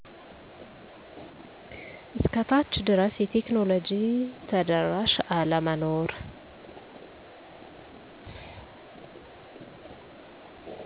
እስከ ታች ድረስ የቴክኖሎጂ ተደራሽ አለመኖር